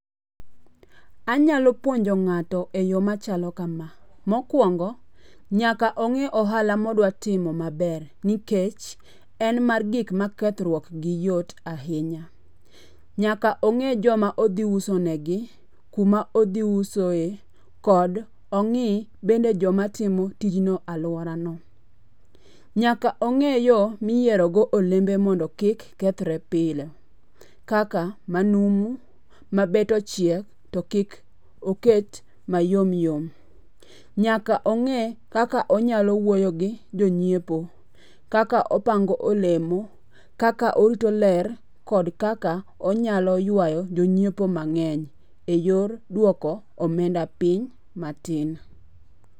Anyalo puonjo ng'ato eyo machalo kama. Mokuongo, nyaka o g'e ohala modwa timo maber nikech, en mar gik makethruok gi yot ahinya. Nyaka ong'e joma odhi uso negi, kuma odhi usoe, kod ongi bende joma timo tij no aluorano. Nyaka ong'e yo miyiero go olembe mondo kik kethre pile. Kaka manumu, mabet ochiek, to kik oket mayom yom. Nyaka ong'e kaka onyalo wuoyo gi jonyiepo, kaka opango olemo, kaka orito ler kod kaka onyalo yuayo jonyiepo mang'eny eyor duoko omenda piny matin.